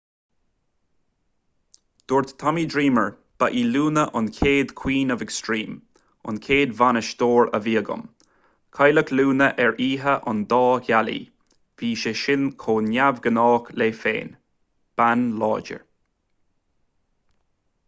dúirt tommy dreamer ba í luna an chéad queen of extreme an chéad bhainisteoir a bhí agam cailleadh luna ar oíche an dá ghealaí bhí sé sin chomh neamhghnách léi féin bean láidir